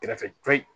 Kɛrɛfɛ ture